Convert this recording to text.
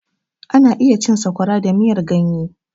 Ana iya cin Sakwaya da miyar ganye.